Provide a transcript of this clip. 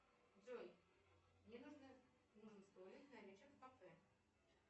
джой мне нужен столик на вечер в кафе